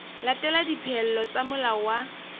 latela dipehelo tsa molao wa